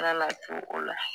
Yaala te o la